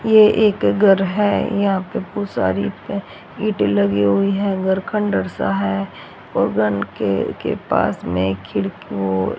ये एक घर है यहां पे बोहोत सारी ईंटें लगी हुईं हैं घर खंडरसा है और घर के पास में एक खिड़की ओर --